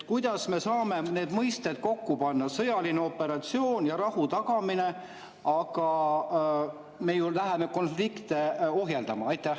Kuidas me saame kokku panna need mõisted – sõjaline operatsioon ja rahu tagamine –, kui me läheme konflikte ohjeldama?